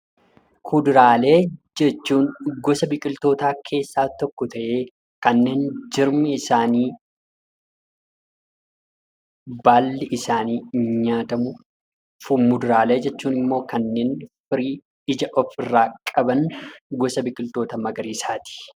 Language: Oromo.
Kuduraalee jechuun gosa biqiltootaa keessaa tokko ta'ee kanneen jirmi isaanii, baalli isaanii nyaatamuu dha. Fuduraalee jechuun immoo kanneen firii of irraa qaban ta'anii gosa biqiltuu magariisaati.